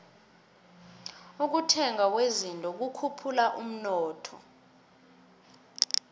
ukuthengwa kwezinto kukhuphula umnotho